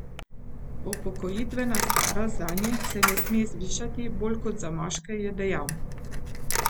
Upokojitvena starost zanje se ne sme zvišati bolj kot za moške, je dejal.